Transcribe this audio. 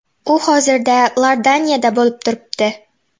U hozirda Iordaniyada bo‘lib turibdi.